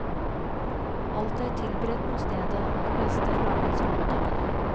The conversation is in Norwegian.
Alt er tilberedt på stedet, det meste er laget samme dag.